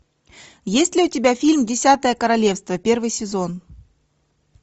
есть ли у тебя фильм десятое королевство первый сезон